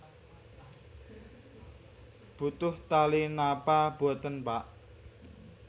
Butuh tali napa boten Pak